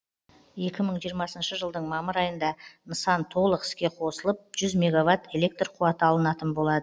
екі мың жиырмасыншы жылдың мамыр айында нысан толық іске қосылып жүз меговатт электр қуаты алынатын болады